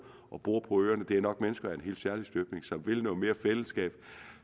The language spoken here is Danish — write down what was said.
og bor på øerne nok er mennesker af en helt særlig støbning som vil noget mere fællesskab